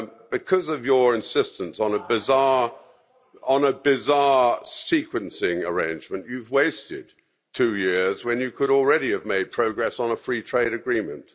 Because of your insistence on a bizarre sequencing arrangement, you've wasted two years when you could already have made progress on a free trade agreement.